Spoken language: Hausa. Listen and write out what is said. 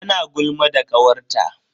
Tana gulma da kawarta.